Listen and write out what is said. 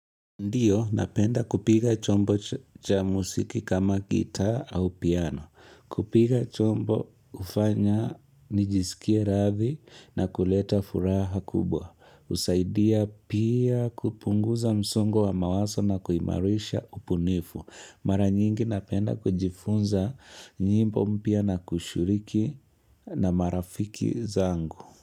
Ndiyo, napenda kupiga chombo cha musiki kama gitaa au piano. Kupiga chombo ufanya nijisikie rathi na kuleta furaha kubwa. Usaidia pia kupunguza msongo wa mawaso na kuimarisha upunifu. Mara nyingi napenda kujifunza nyimbo mpya na kushuriki na marafiki zangu.